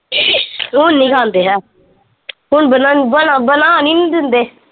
ਹੁਣ ਨੀ ਖਾਂਦੇ ਹੈ ਹੁਣ ਬਣਾ ਬਣਾ ਬਨਾਣ ਈ ਨੀ ਦਿੰਦੇ